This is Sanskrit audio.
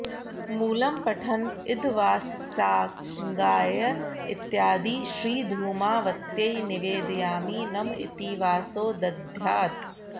मूलम्पठन् इदवासस्साङ्गायै इत्यादि श्रीधूमावत्यै निवेदयामि नम इति वासो दद्यात्